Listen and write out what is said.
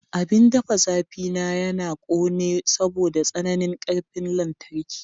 Abin ɗafa zafi na yana ƙone saboda tsananin ƙarfin lantarki.